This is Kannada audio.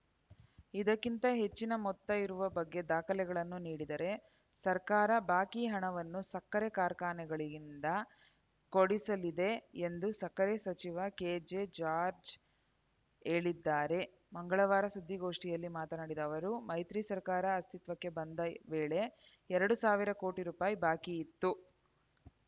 ಇದಕ್ಕಿಂತ ಹೆಚ್ಚಿನ ಮೊತ್ತ ಇರುವ ಬಗ್ಗೆ ದಾಖಲೆಗಳನ್ನು ನೀಡಿದರೆ ಸರ್ಕಾರ ಬಾಕಿ ಹಣವನ್ನು ಸಕ್ಕರೆ ಕಾರ್ಖಾನೆಗಳಿಂದ ಕೊಡಿಸಲಿದೆ ಎಂದು ಸಕ್ಕರೆ ಸಚಿವ ಕೆಜೆ ಜಾರ್ಜ್ ಹೇಳಿದ್ದಾರೆ ಮಂಗಳವಾರ ಸುದ್ದಿಗೋಷ್ಠಿಯಲ್ಲಿ ಮಾತನಾಡಿದ ಅವರು ಮೈತ್ರಿ ಸರ್ಕಾರ ಅಸ್ತಿತ್ವಕ್ಕೆ ಬಂದ ವೇಳೆ ಎರಡು ಸಾವಿರ ಕೋಟಿ ರೂಪಾಯಿ ಬಾಕಿ ಇತ್ತು